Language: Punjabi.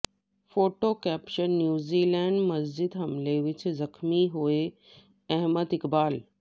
ਫੋਟੋ ਕੈਪਸ਼ਨ ਨਿਊਜ਼ੀਲੈਂਡ ਮਸਜਿਦ ਹਮਲੇ ਵਿੱਚ ਜ਼ਖਮੀ ਹੋਏ ਅਹਿਮਦ ਇਕਬਾਲ